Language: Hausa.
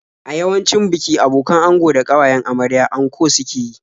A yawancin biki abokan ango da ƙawayen amarya anko suke yi.